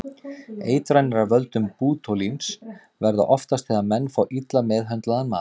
Eitranir af völdum bótúlíns verða oftast þegar menn fá illa meðhöndlaðan mat.